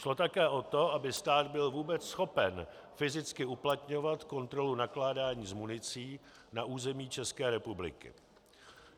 Šlo také o to, aby stát byl vůbec schopen fyzicky uplatňovat kontrolu nakládání s municí na území České republiky.